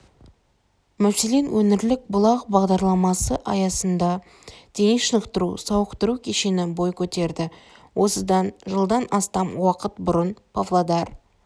мәселен өңірлік бұлақ бағдарламасы аясында дене шынықтыру-сауықтыру кешені бой көтерді осыдан жылдан астам уақыт бұрын павлодар